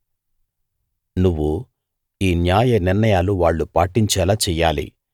నువ్వు ఈ న్యాయ నిర్ణయాలు వాళ్ళు పాటించేలా చెయ్యాలి